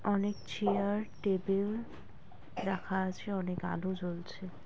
অনেক chair table রাখা আছে অনেক আলো জ্বলছে।